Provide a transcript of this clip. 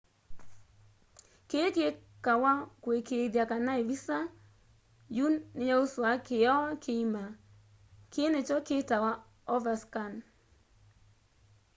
kii kikawa kuikiithya kana ivisa yu niyausua kioo kiima kii nikyo kitawa overscan